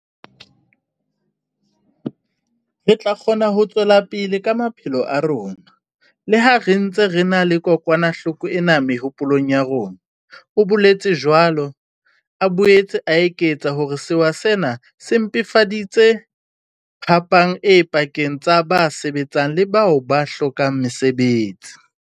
"Re tla kgona ho tswela pele ka maphelo a rona, le ha re ntse re na le kokwanahloko ena mehopolong ya rona," o boletse jwalo, a boetse a eketsa hore sewa sena se mpefaditse phapang e pakeng tsa ba sebetsang le bao ba hlokang mesebetsi.